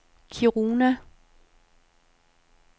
Kiruna